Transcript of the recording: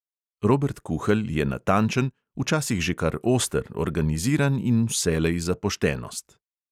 Robert kuhelj je natančen, včasih že kar oster, organiziran in vselej za poštenost.